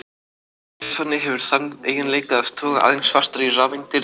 Súrefni hefur þann eiginleika að toga aðeins fastar í rafeindir en vetni.